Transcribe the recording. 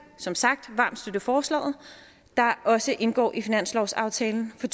som sagt varmt støtte forslaget der også indgår i finanslovsaftalen for